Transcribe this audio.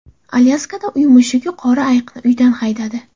Alyaskada uy mushugi qora ayiqni uydan haydadi.